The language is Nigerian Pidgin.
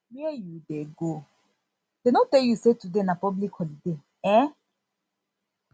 where you dey go dey no tell you say today na public holiday um